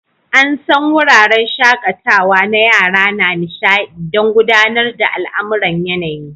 An san wuraren shakatawa na yara na nishaɗi don gudanar da al'amuran yanayi.